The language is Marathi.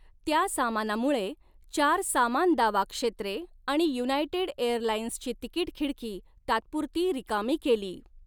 त्या सामानामुळे, चार सामान दावा क्षेत्रे आणि युनायटेड एअरलाइन्सची तिकीट खिडकी तात्पुरती रिकामी केली.